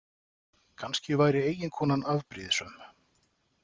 Kannski væri eiginkonan afbrýðissöm.